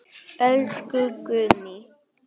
Elsku Guðný.